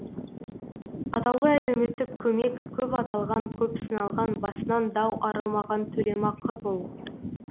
атаулы әлеуметтік көмек көп аталған көп сыналған басынан дау арылмаған төлемақы бұл